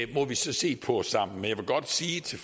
det må vi se på sammen men jeg vil godt sige til